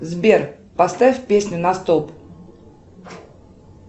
сбер поставь песню на стоп